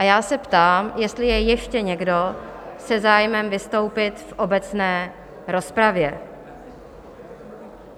A já se ptám, jestli je ještě někdo se zájmem vystoupit v obecné rozpravě.